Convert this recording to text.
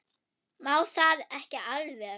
Má það ekki alveg?